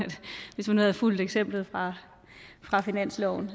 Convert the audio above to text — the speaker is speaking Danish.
hvis man nu havde fulgt eksemplet fra finansloven